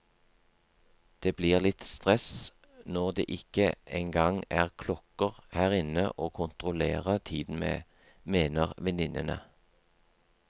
Det blir litt stress når det ikke engang er klokker her inne å kontrollere tiden med, mener venninnene.